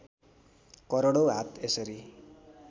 करोडौं हात यसरी